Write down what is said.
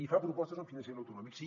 i fa propostes en finançament autonòmic sí